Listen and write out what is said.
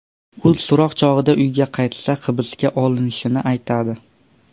U so‘roq chog‘ida uyga qaytsa hibsga olinishini aytadi.